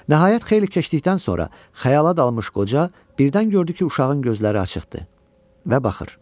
Nəhayət xeyli keçdikdən sonra xəyala dalmış qoca birdən gördü ki, uşağın gözləri açıqdır və baxır.